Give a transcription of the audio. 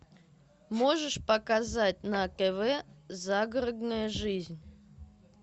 можешь показать на тв загородная жизнь